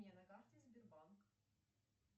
на карте сбербанк